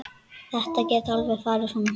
Þetta gat alveg farið svona.